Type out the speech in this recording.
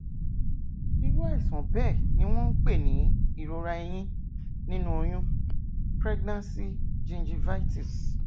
irú àìsàn bẹẹ ni wọn ń pè ní ìrora eyín nínú oyún pregnancy gingivitis